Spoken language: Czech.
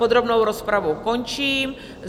Podrobnou rozpravu končím.